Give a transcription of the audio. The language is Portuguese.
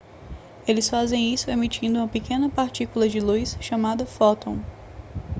eles fazem isso emitindo uma pequena partícula de luz chamada fóton